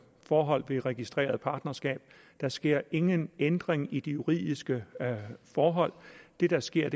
forhold ved registrerede partnerskab der sker ingen ændring i de juridiske forhold det der sker